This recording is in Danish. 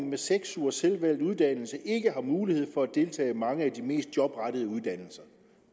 med seks ugers selvvalgt uddannelse ikke har mulighed for at deltage i mange af de mest jobrettede uddannelser